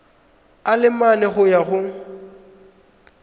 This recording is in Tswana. a le mane go ya